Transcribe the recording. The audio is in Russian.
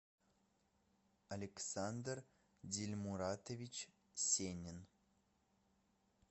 александр дильмуратович сенин